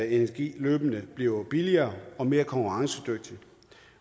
energi løbende bliver billigere og mere konkurrencedygtig